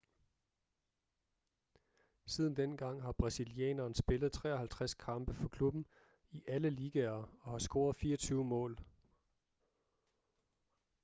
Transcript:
siden dengang har brasilianeren spillet 53 kampe for klubben i alle ligaer og har scoret 24 mål